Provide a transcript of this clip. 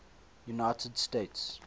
united states